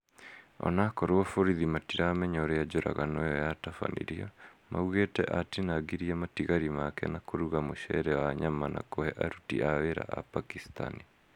ona akorwo borithi matiramenya ũria njũragano ĩyo yatabanirio, maugĩte atinangirie matigari make na kũruga mũcere wa nyama na kũhe aruti a wĩra a pakisitani